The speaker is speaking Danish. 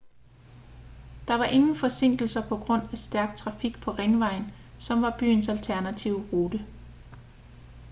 der var ingen forsinkelser på grund af stærk trafik på ringvejen som var byens alternative rute